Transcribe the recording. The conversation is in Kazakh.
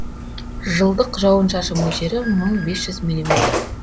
жылдық жауын шашын мөлшері мың бес жүз миллиметр